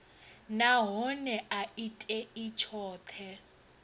nahone a i tei tshoṱhe